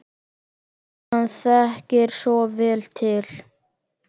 Hann þekkir svo vel til.